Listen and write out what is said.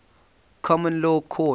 common law courts